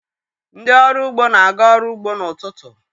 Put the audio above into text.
Ndị ọrụ ugbo na-aga ọrụ ugbo n'ụtụtụ.